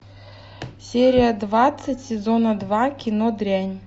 серия двадцать сезона два кино дрянь